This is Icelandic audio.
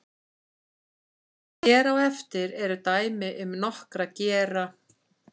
hér á eftir eru dæmi um nokkra gera